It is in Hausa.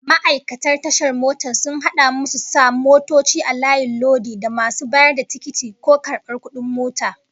Ma'aikatan tashar mota sun hada masu sa motoci a layin lodi, da masu bayar da tikiti ko karbar kudin mota